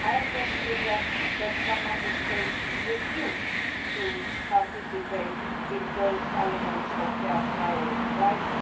I just regret that some Member States refuse to participate in those elements of fair trial rights.